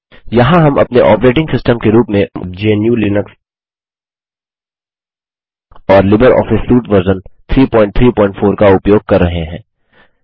यहाँ हम अपने ऑपरेटिंग सिस्टम के रूप में GNUलिनक्स और लिबर ऑफिस सूट वर्जन 334 का उपयोग कर रहे हैं